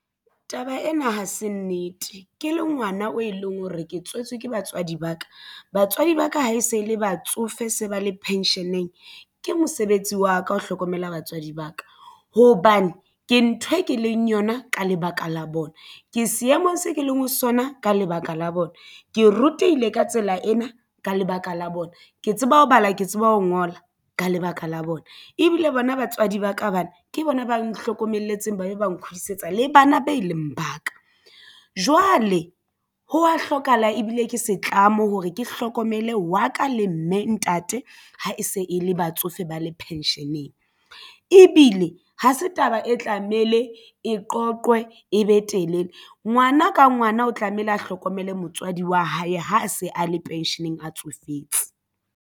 Taba ena ha se nnete ke le ngwana o e leng hore ke tswetswe ke batswadi ba ka batswadi ba ka ha e se le batsofe se ba le pension-eng ke mosebetsi wa ka ho hlokomela batswadi ba ka hobane ke ntho e ke leng yona ka lebaka la bona. Ke seemong se ke leng ho sona ka lebaka la bona ke rutehile ka tsela ena ka lebaka la bona ke tseba ho bala ke tseba ho ngola ka lebaka la bona. Ebile bona batswadi ba ka bana ke bona ba nhlokomelle ntseng ba be ba nkgutlisetsa le bana be leng ba ka. Jwale ho wa hlokahala ebile ke setlamo hore ke hlokomele wa ka le mme ntate ha e se e le batsofe ba le pension-eng ebile e ha se taba e tlamehile e qoqwe e be telele ngwana ka ngwana o tlamehile a hlokomele motswadi wa hae ha a se a le pension-eng a tsofetse.